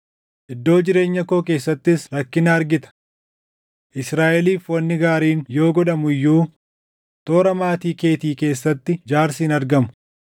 iddoo jireenya koo keessattis rakkina argita. Israaʼeliif wanni gaariin yoo godhamu iyyuu, toora maatii keetii keessatti jaarsi hin argamu.